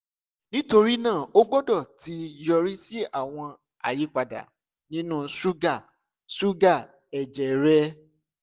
nitorina o gbọdọ ti yori si awọn ayipada ninu suga suga ẹjẹ rẹ